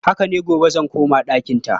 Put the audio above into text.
Haka ne, gobe zan koma ɗakinta.